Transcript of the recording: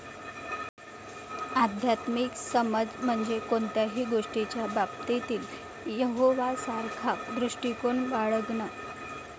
आध्यात्मिक समज म्हणजे कोणत्याही गोष्टीच्या बाबतीत यहोवासारखा दृष्टिकोन बाळगणं.